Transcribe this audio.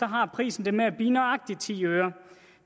har prisen det med at blive nøjagtig ti øre